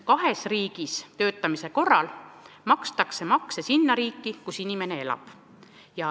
Kahes riigis töötamise korral makstakse makse sinna riiki, kus inimene elab.